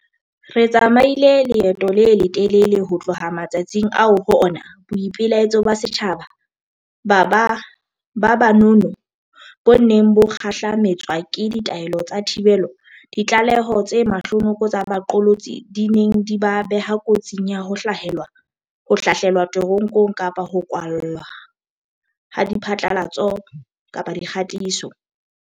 Re tsamaile leeto le letelele ho tloha matsatsing ao ho ona boipelaetso ba setjhaba ba ba nono bo neng bo kgahlame tswa ke ditaelo tsa thibelo, ditlaleho tse mahlonoko tsa baqolotsi di neng di ba beha kotsing ya ho hlahlelwa te ronkong kapa ho kwalwa ha diphatlalatso-dikgatiso.